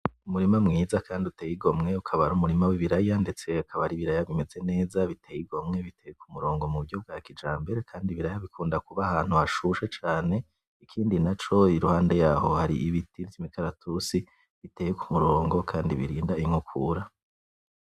Umurima mwiza kandi uteye igomwe, ukaba ari umurima w'ibiraya ndetse akaba ari ibiraya bimeze neza biteye igomwe biteye ku murongo mu buryo bwa kijambere , kandi ibiraya bikunda kuba ahantu hashushe cane, ikindi naco iruhande yaho hari ibiti vy'imikaratusi biteye ku murongo kandi birinda inkokura.